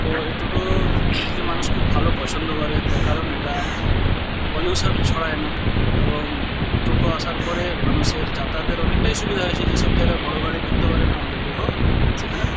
তো এই টোট-ও কে মানুষ খুব ভালো পছন্দ করে তার কারন এটা পলিউশন ছড়ায় না এবং এই টোটো আসার পরে মানুষের যাতায়াতের অনেকটাই সুবিধা হয়েছে যে সব জায়গায় বড় গাড়ি ঢুকতে পারেনা আমাদের টোটো সেখানে--